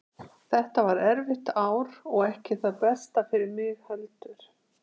Þetta var erfitt ár og ekki það besta fyrir mig heldur.